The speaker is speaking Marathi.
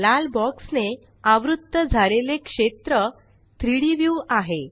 लाल बॉक्स ने आवृत्त झालेले क्षेत्र 3डी व्यू आहे